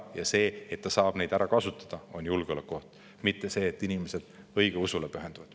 Ja see, et ta saab neid ära kasutada, on julgeolekuoht, mitte see, et inimesed õigeusule pühenduvad.